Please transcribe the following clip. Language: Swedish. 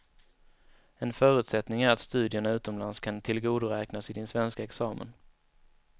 En förutsättning är att studierna utomlands kan tillgodoräknas i din svenska examen.